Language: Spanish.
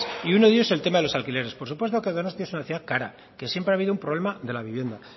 y uno de ellos el tema de los alquileres por supuesto que donostia es una ciudad cara que siempre ha habido un problema de la vivienda